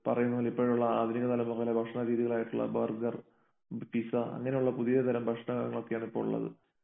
പറയുന്നപോലെ ഇപ്പോഴുള്ള ആധുനിക ഭക്ഷണരീതികൾ ആയിട്ടുള്ള ബർഗർ പിസ്സ അങ്ങനെയുള്ള പുതിയ തരം ഭക്ഷണങ്ങളൊക്കെയാണ് ഇപ്പോളുള്ളത്.